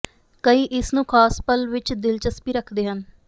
ਕਈ ਇਸ ਨੂੰ ਖਾਸ ਪਲ ਵਿੱਚ ਦਿਲਚਸਪੀ ਰੱਖਦੇ ਹਨ